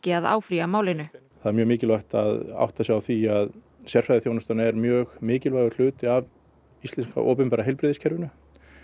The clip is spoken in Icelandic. að áfrýja málinu það er mjög mikilvægt að átta sig á því að sérfræðiþjónustan er mjög mikilvægur hluti af íslenska opinbera heilbrigðiskerfinu